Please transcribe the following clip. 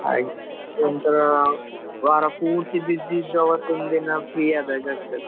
ಹಾಗೆ ಎಂತ ವಾರ ಪೂರ್ತಿ busy ಇದ್ದ್ ಅವತ್ತೊಂದಿನ free ಆದಾಗ್ ಆಗ್ತದೆ.